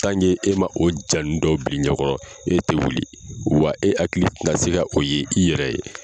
e ma o janin dɔ bili ɲɛ kɔrɔ e te wuli, wa e hakili ti na se ka o ye i yɛrɛ ye.